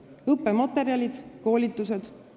Kuidas on lood õppematerjalide ja koolitustega?